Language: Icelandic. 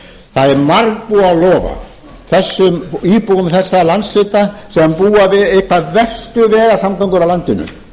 það er margbúið að lofa íbúum þessa landshluta sem búa við einar verstu vegaframkvæmdir á landinu